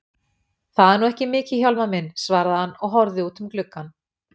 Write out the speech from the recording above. Það er nú ekki mikið Hjálmar minn, svaraði hann og horfði út um gluggann.